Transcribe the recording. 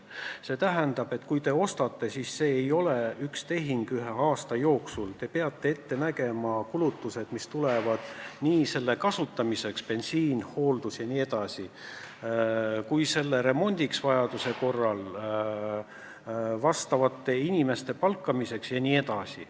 See tähendab, et kui te selle ostate, siis see ei ole üks tehing ühe aasta jooksul, vaid te peate ette nägema ka kulutused, mis tekivad selle kasutamiseks: bensiin, hooldus, remont vajaduse korral, tarvilike inimeste palkamine jne.